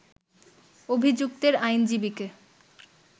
অভিযুক্তের আইনজীবীকে